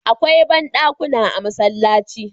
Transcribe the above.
Akwai bandakunan a masallaci